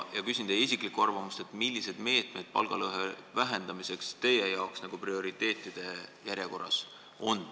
Küsin teie isiklikku arvamust, millised meetmed palgalõhe vähendamiseks teil prioriteetide järjekorras on.